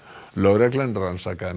lögreglan rannsakaði